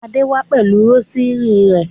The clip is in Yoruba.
Adé wá pẹ̀lú rósírì rẹ̀.